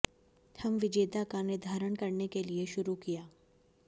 हम विजेता का निर्धारण करने के लिए शुरू किया